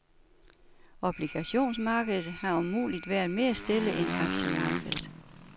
Obligationsmarkedet har om muligt været mere stille end aktiemarkedet.